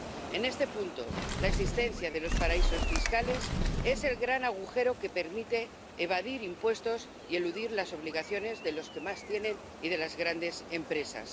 En este punto, la existencia de los paraísos fiscales es el gran agujero que permite evadir impuestos y eludir las obligaciones de los que más tienen y de las grandes empresas.